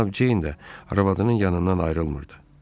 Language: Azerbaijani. Cənab Ceyn də arvadının yanından ayrılmırdı.